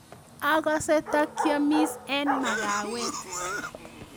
Akase ndakiamis eng makawet